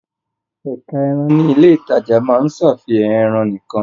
Ẹ̀ka ẹran ní ilé-ìtajà máa ń ṣàfihàn ẹran nìkan.